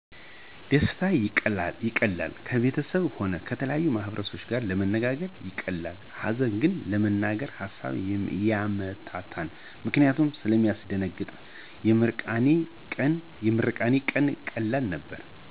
ደስታ ይቀላል ከቤተሰብም ሆነ ከተለያየ ማህበረሰብ ጋር ለመነጋገ ይቀላል ሀዘን ግን ለመናገር ሀሳብን ያምታታን ምክንያት ስለሚያስደነግጥ የምርቃኔ ቀን ቀላል ነበር